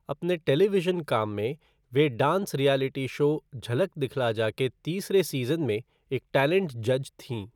अपने टेलीविज़न काम में, वे dance reality show Jhalak Dikhhla Jaa के तीसरे सीज़न में एक टैलेंट जज थीं।